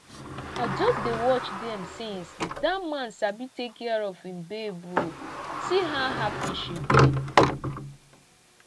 i just dey watch dem since dat man sabi take care of im babe oo see how happy she dey